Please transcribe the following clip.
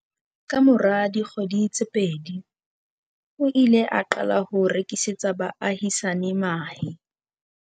Kamora dikgwedi tse pedi, o ile a qala ho rekisetsa baahisani mahe.